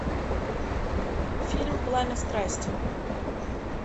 фильм пламя страсти